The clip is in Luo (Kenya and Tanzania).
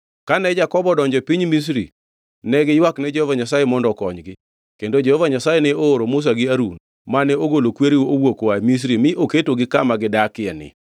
“Kane Jakobo odonjo e piny Misri, ne giywakne Jehova Nyasaye mondo okonygi, kendo Jehova Nyasaye ne ooro Musa gi Harun, mane ogolo kwereu owuok oa Misri mi oketogi kama gidakieni.